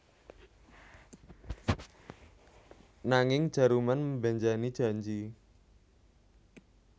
Nanging Jaruman mbenjani janji